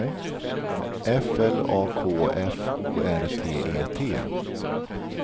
F L A K F O R T E T